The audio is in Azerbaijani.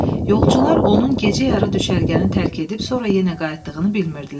Yolçular onun gecə yarı düşərgəni tərk edib sonra yenə qayıtdığını bilmirdilər.